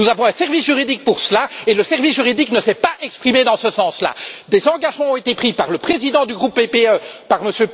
Nous avons un service juridique pour cela et le service juridique ne s'est pas exprimé en ce sens. Des engagements ont été pris par le président du groupe PPE, par M.